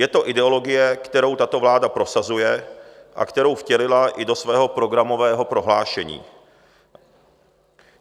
Je to ideologie, kterou tato vláda prosazuje a kterou vtělila i do svého programového prohlášení.